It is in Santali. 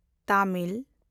ᱛᱟᱢᱤᱞ